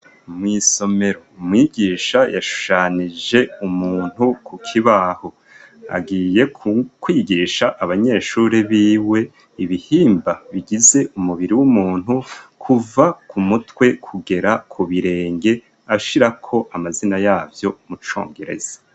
Mw'isomero umwigisha yashushanije umuntu ku kibaho agiye kwigisha abanyeshure biwe ibihimba bigize umubiri w'umuntu kuva ku mutwe kugera ku birenge ashirako amazina yavyo mu congereza.